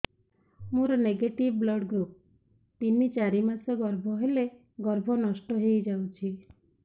ମୋର negative blood group ତିନ ଚାରି ମାସ ଗର୍ଭ ହେଲେ ଗର୍ଭ ନଷ୍ଟ ହେଇଯାଉଛି